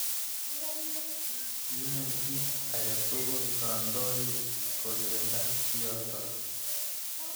Yae kit ake tukul kandoik kokirinda kiyotok.